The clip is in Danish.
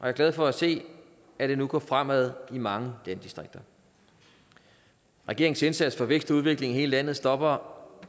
er glad for at se at det nu går fremad i mange landdistrikter regeringens indsats for vækst og udvikling i hele landet stopper